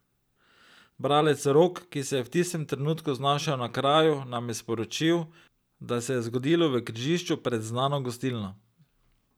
Bralec Rok, ki se je v tistem trenutku znašel na kraju, nam je sporočil, da se je zgodilo v križišču pred znano gostilno.